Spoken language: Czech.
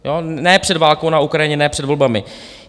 Ne před válkou na Ukrajině, ne před volbami.